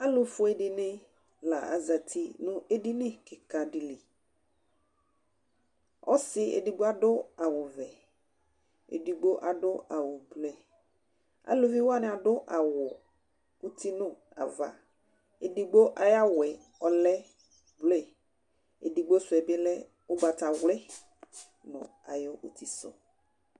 alu fue dini la azati nu edini kika di li, ɔsi edigbo adu awu vɛ, edigbo adu awu blue , edigbo adu awu uti nu ava, edigbo ayu ava la blue edigbo sʋɛ bi lɛ ugbata wli nu ayu utisu